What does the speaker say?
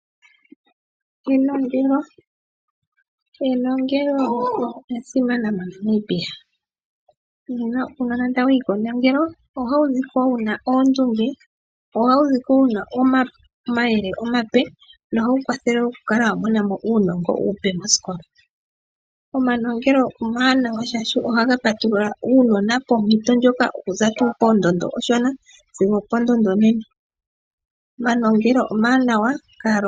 Enongelo, enongelo olya simana moNamibia, uunona tawu yi kenongelo ohawu zi ko wuna oondunge, ohawu zi ko wuna omayele omape nohawu kwathelwa opo wu kale wa mona mo uunongo uupe moshikola. Omanongelo omawanawa shaashi ohaga patulula uunona oompito ndjoka oku za poondondo ooshona sigo opo ndondo onene. Omanongelo omawanawa kaalongi.